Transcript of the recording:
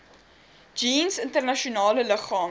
jeens internasionale liggame